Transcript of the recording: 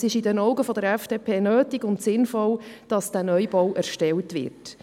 Es ist aus Sicht der FDP nötig und sinnvoll, diesen Neubau zu erstellen.